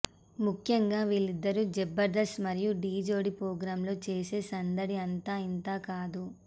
ముఖ్యంగా వీళ్లిద్దరూ జబర్దస్త్ మరియు డి జోడి ప్రోగ్రాంలో చేసే సందడి అంతా ఇంతా కాదు